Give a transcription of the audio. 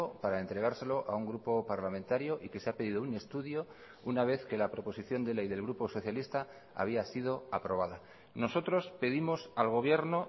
para entregárselo a un grupo parlamentario y que se ha pedido un estudio una vez que la proposición de ley del grupo socialista había sido aprobada nosotros pedimos al gobierno